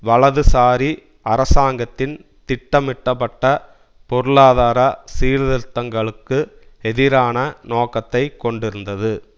வலதுசாரி அரசாங்கத்தின் திட்டமிட்டப்பட்ட பொருளாதார சீர்திருத்தங்களுக்கு எதிரான நோக்கத்தை கொண்டிருந்தது